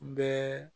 Bɛɛ